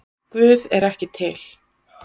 Guð er ekki til